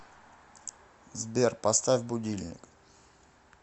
сбер поставь будильник